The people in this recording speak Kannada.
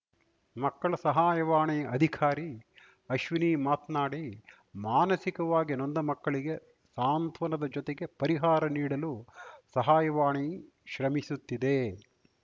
ಮಕ್ಕಳ ಸಹಾಯವಾಣಿ ಅಧಿಕಾರಿ ಅಶ್ವಿನಿ ಮಾತ್ನಾಡಿ ಮಾನಸಿಕವಾಗಿ ನೊಂದ ಮಕ್ಕಳಿಗೆ ಸಾಂತ್ವನದ ಜೊತೆಗೆ ಪರಿಹಾರ ನೀಡಲು ಸಹಾಯವಾಣಿ ಶ್ರಮಿಸುತ್ತಿದೆ